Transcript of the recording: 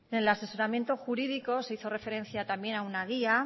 en el asesoramiento jurídico se hizo referencia también a una guía